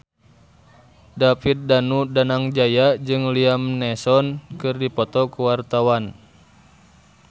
David Danu Danangjaya jeung Liam Neeson keur dipoto ku wartawan